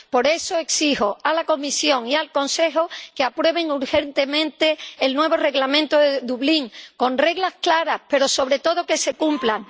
Por eso exijo a la Comisión y al Consejo que aprueben urgentemente el nuevo Reglamento de Dublín, con reglas claras, pero, sobre todo, que se cumplan.